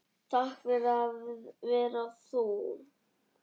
Takk fyrir að vera þú.